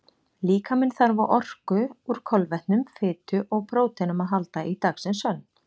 Líkaminn þarf á orku úr kolvetnum, fitu og próteinum að halda í dagsins önn.